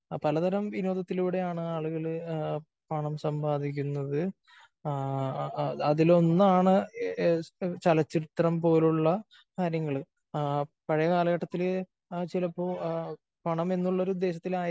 പലതരം വിനോദത്തിലൂടെയാണ് ആളുകള് പണം സമ്പാദിക്കുന്നത്. ആ അതിലൊന്നാണ് ചലച്ചിത്രം പോലുള്ള കാര്യങ്ങള്. പഴയ കാലഘട്ടത്തില് ചിലപ്പോ പണം എന്നുള്ള ഒരു ഉദ്ദേശത്തിലായിരിക്കില്ല